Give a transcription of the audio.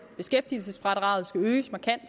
beskæftigelsesfradraget skal øges markant